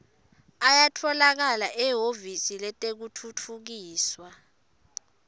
ayatfolakala ehhovisi letekutfutfukiswa